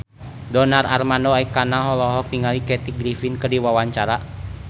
Donar Armando Ekana olohok ningali Kathy Griffin keur diwawancara